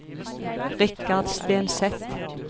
Richard Stenseth